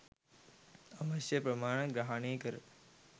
අවශ්‍ය ප්‍රමාණය ග්‍රහනය කර